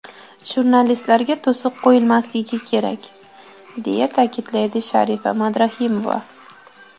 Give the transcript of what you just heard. Jurnalistlarga to‘siq qo‘yilmasligi kerak”, deya ta’kidlaydi Sharifa Madrahimova.